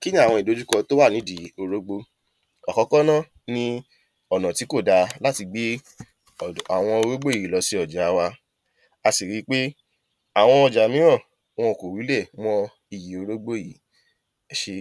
Kí ni awọn ìdójúkọ to wà nídi orógbó? Àkọ́kọ́ ná ni ọ̀nà tí kò dáà láti gbé awọn orógbó yìí lọ́ si awọn ọjà wa, a sì ri pé awọn ọjà mìíràn wọn kò wúlẹ̀ mọ́ ìyi orógbó yìí. ẹ ṣé